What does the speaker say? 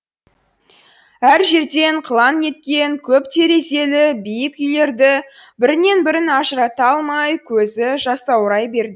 әр жерден қылаң еткен көп терезелі биік үйлерді бірінен бірін ажырата алмай көзі жасаурай берді